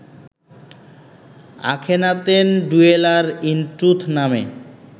Akhenaten dweller in truth নামে